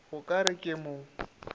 o ka re ke mo